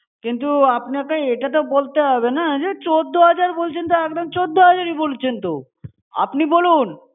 কিন্তু আপনাকে এটা তো বলতে হবে না যে, চোদ্দ হাজার বলছেন তো একদম চোদ্দ হাজার ই বলছেন তো! আপনি বলুন।